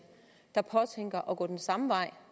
der påtænker at gå den samme vej